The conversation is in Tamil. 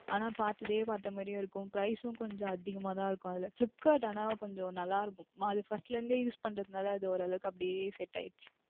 ஆனால் பார்ப்பதே பார்த்த மாதிரி இருக்கும் கொஞ்சம் Price உம் அதிகமாக தான் இருக்கும் அதில் Flipkart ஆனால் கொஞ்சம் நன்றாகவும் இருக்கும் அது நான் First ல இருந்து Use பண்ணுவதால் அப்படியே Set ஆகிவிட்டது